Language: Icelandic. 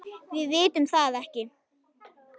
Við vitum það ekki.